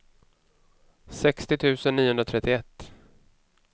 sextio tusen niohundratrettioett